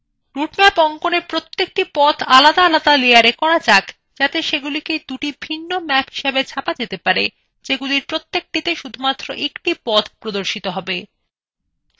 route map অঙ্কনa প্রত্যেকটি পথ আলাদা layera করা যাক যাতে সেগুলিকে route ভিন্ন ম্যাপ হিসাবে ছাপা যাতে যেগুলির প্রতিটি শুধুমাত্র একটি পথ প্রদর্শন করবে